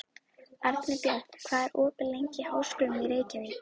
Arinbjörn, hvað er opið lengi í Háskólanum í Reykjavík?